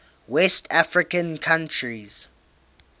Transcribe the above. west african countries